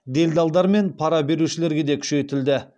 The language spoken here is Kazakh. делдалдар мен пара берушілерге де күшейтілді